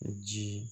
Ji